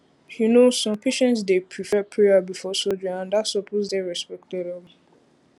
you know some patients dey prefer prayer before surgery and that supose dey respected um